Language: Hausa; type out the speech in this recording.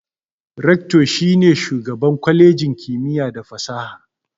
Reactor shi ne shugaban kwalejin kimiyya da fasaha.